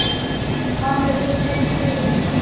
Hann er eins og Guð þar.